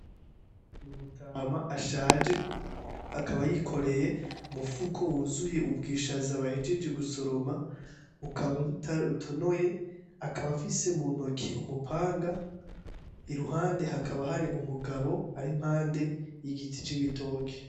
N'umutama ashaje akaba yikoreye umupfuko wuzuye ubwishaza bahejeje gusoroma bukaba budatonoye akaba afise mu ntoki umupanga i ruhande hakaba hari umugabo arimpande y'igiti c'ibitoke.